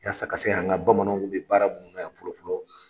Yasa ka se k'an ka bamananw kun bɛ baara munnu na yan fɔlɔ fɔlɔ